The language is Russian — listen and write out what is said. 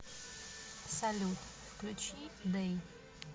салют включи дэй